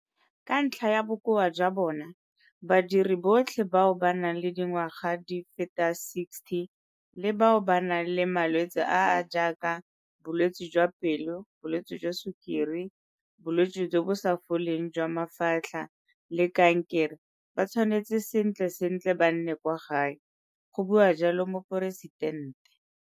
Ka ntlha ya bokoa jwa bona, badiri botlhe bao ba nang le dingwaga di feta 60 le bao ba nang le malwetse a a jaaka bolwetse jwa pelo, bolwetse jwa sukiri, bolwetse jo bo sa foleng jwa mafatlha le kankere ba tshwanetse sentle sentle ba nne kwa gae, go bua jalo Moporesitente.